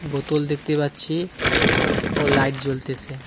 বোতল দেখতে পাচ্ছি ও লাইট জ্বলতেসে .